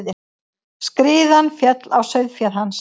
Skriðan féll á sauðféð hans.